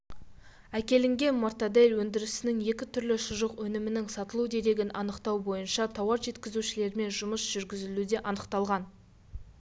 әкелінген мортадель өндірісінің екі түрлі шұжық өнімінің сатылу дерегін анықтау бойынша тауар жеткізушілермен жұмыс жүргізілуде анықталған